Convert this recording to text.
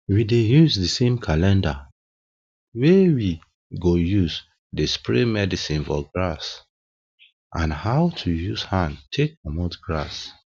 we dey use di same calender wey we go use dey spray medicine for grass and how to use hand take comot grass